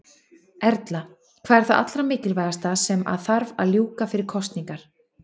Erla: Hvað er það allra mikilvægasta sem að þarf að ljúka fyrir kosningar?